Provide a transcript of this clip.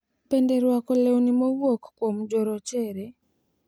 Bende rwako lewni mowuok kuom jorochere.